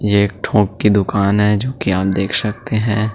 ये थोक की दुकान है जो कि आप देख सकते हैं।